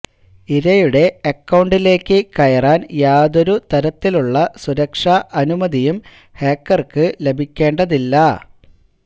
ഇരയുടെ അക്കൌണ്ടിലേക്ക് കയറാന് യാതൊരു തരത്തിലുള്ള സുരക്ഷാ അനുമതിയും ഹാക്കര്ക്ക് ലഭിക്കേണ്ടതില്ല